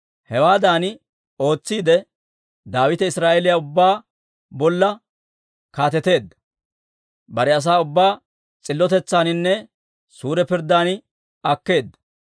Hewaadan ootsiide, Daawite Israa'eeliyaa ubbaa bolla kaateteedda; bare asaa ubbaa s'illotetsaaninne suure pirddan akkeedda.